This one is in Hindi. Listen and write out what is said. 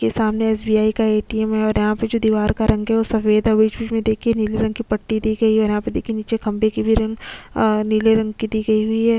के सामने एसबीआई का एटीएम है और यहाँ पे जो दिवार का रंग है वो सफ़ेद बिच-बिच देखिये में नील रंग की पट्टी दी गयी है और यहाँ पे देखिये निचे खम्भे की भी रंग अ नीले रंग की दी गयी हुई है।